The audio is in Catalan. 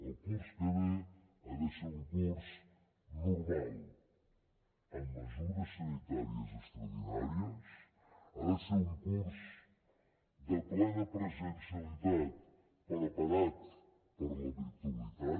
el curs que ve ha d’ésser un curs normal amb mesures sanitàries extraordinàries ha de ser un curs de plena presencialitat preparat per a la virtualitat